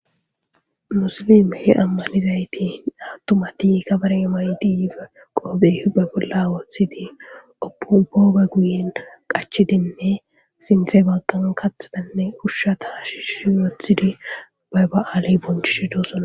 Musilime he ammanizayti attumati kabare may diife qoobe hibe bolla wothidi opubooba guyen qachidinne sinthe bagqan kathatanne kushsha shishi wothidi bay ba'aali bonchidi do'osona